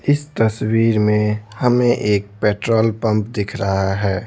इस तस्वीर में हमें एक पेट्रोल पंप दिख रहा है।